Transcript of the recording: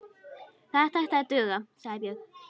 Þetta ætti að duga, sagði Björn.